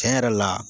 Tiɲɛ yɛrɛ la